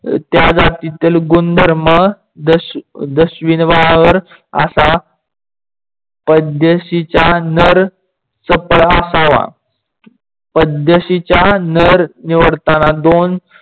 त्या जातीतील गुणधर्म असा. पाद्यशीच्या नर चपड असावा. पाद्यशीचा नर निवडतांना दोन